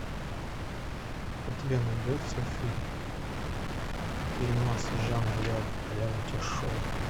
у тебя найдется фильм фильмас жанр реалити шоу